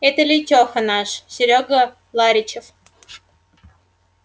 это лейтеха наш серёга ларичев